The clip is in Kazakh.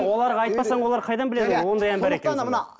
оларға айтпасаң олар қайдан біледі ондай ән бар екенін